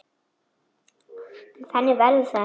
En þannig verður það ekki.